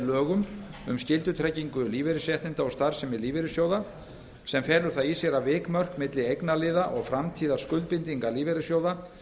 lögum um skyldutryggingu lífeyrisréttinda og starfsemi lífeyrissjóða sem felur það í sér að vikmörk milli eignarliða og framtíðarskuldbindinga lífeyrissjóða